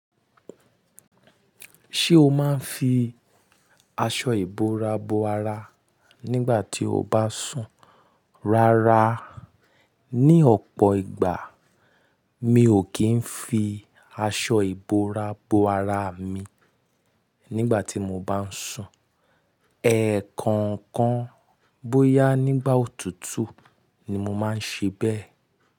Ṣé o máa ń fi aṣọ ìbora bo ara nígbà tí o bá sùn? Rárá, ní ọ̀pọ̀ ìgbà mi ò kí ń fi aṣọ ìbora bo ara mi nígbà tí mo bá n sùn. Ẹ̀ẹ̀kọ̀okan bóyá nígbà òtútù ni mo máa ń ṣe bẹ́ẹ̀.